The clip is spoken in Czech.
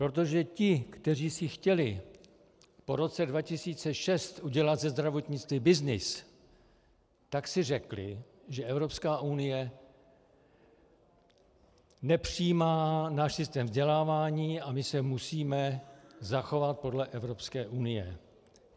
Protože ti, kteří si chtěli po roce 2006 udělat ze zdravotnictví byznys, tak si řekli, že Evropská unie nepřijímá náš systém vzdělávání a my se musíme zachovat podle Evropské unie.